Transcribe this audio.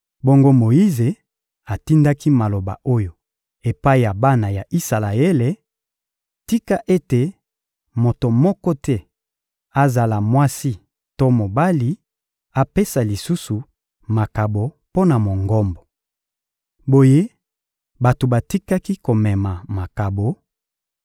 Bongo Moyize atindaki maloba oyo epai ya bana ya Isalaele: — Tika ete moto moko te, azala mwasi to mobali, apesa lisusu makabo mpo na Mongombo! Boye bato batikaki komema makabo,